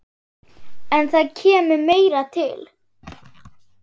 En það kemur meira til.